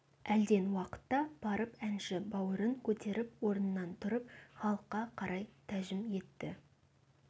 әлден уақытта барып әнші бауырын көтеріп орнынан тұрып халыққа қарап тәжім етті